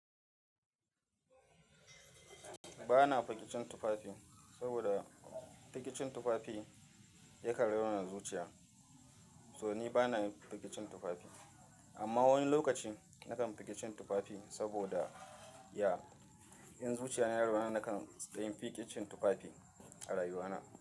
Ba na fiki cin tufafi, saboda fiki cin tufafi yakan raunata zuciya, so ni ba na fiki cin tufafi. Amma wani lokaci na kan fiki cin tufafi saboda ya, in zuciyar na yi rauni na kan taya fiki cin tufafi a rayuwa na.